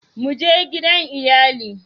Mu je gidan iyali